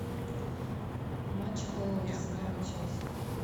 матч апл арсенал и челси